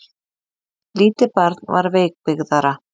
Lítið barn var veikbyggðara.